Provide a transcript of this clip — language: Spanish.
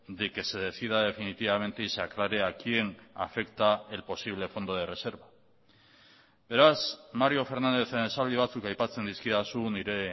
de que se decida definitivamente y se aclare a quién afecta el posible fondo de reserva beraz mario fernándezen esaldi batzuk aipatzen dizkidazu nire